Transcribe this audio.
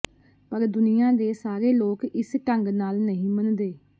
ਪਰ ਦੁਨੀਆਂ ਦੇ ਸਾਰੇ ਲੋਕ ਇਸ ਢੰਗ ਨਾਲ ਨਹੀਂ ਮੰਨਦੇ